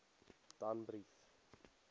danbrief